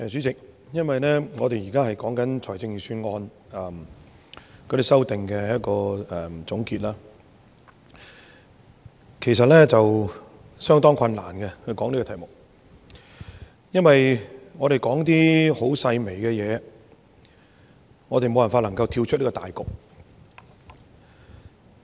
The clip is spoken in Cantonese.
主席，我們現在是就財政預算案在這個環節的修正案作總結，其實討論這題目是相當困難的，因為我們說的是一些細微的事情，而我們無法跳出大局。